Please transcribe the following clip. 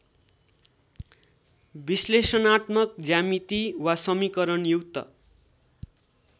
विश्लेषणात्मक ज्यामिति वा समिकरणयुक्त